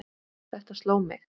Þetta sló mig.